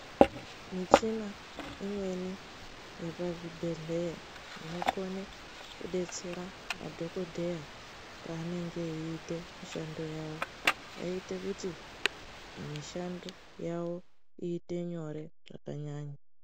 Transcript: Michina imweni yepazvibhehleya inokone kudetsera madhokodheya panenge eiite mishando yawo eiite kuti mishando yawo iite nyore zvakanyanya.